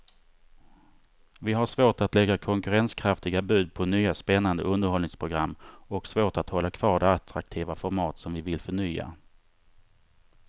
Vi har svårt att lägga konkurrenskraftiga bud på nya spännande underhållningsprogram och svårt att hålla kvar de attraktiva format som vi vill förnya.